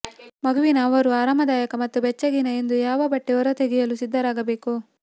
ಮಗುವಿನ ಅವರು ಆರಾಮದಾಯಕ ಮತ್ತು ಬೆಚ್ಚಗಿನ ಎಂದು ಯಾವ ಬಟ್ಟೆ ಹೊರತೆಗೆಯಲು ಸಿದ್ಧರಾಗಿರಬೇಕು